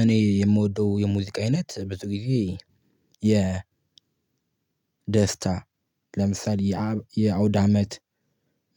እኔ የምወደው የሙዚቃ አይነት ብዙ ጊዜ የ ደስታ፤ ለምሳሌ፣ የአውዳመት